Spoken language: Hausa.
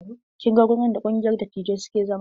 Kin ga wurin da ƙungiyar dattijai suke zama.